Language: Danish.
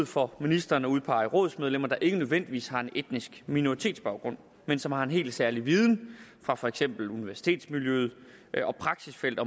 for ministeren at udpege rådsmedlemmer der ikke nødvendigvis har en etnisk minoritetsbaggrund men som har en helt særlig viden fra for eksempel universitetsmiljøet og praksisfeltet